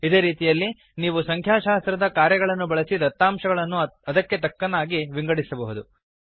ಇದೇ ರೀತಿಯಲ್ಲಿ ನೀವು ಸಂಖ್ಯಾಶಾಸ್ತ್ರದ ಕಾರ್ಯಗಳನ್ನು ಬಳಸಿ ದತ್ತಾಂಶಗಳನ್ನು ಅದಕ್ಕೆ ತಕ್ಕನಾಗಿ ವಿಂಗಡಿಸಬಹುದು